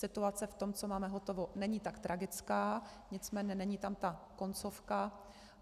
Situace v tom, co máme hotovo, není tak tragická, nicméně není tam ta koncovka.